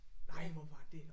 Nej hvor var det